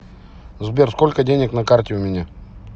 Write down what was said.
сбер сколько денег на карте у меня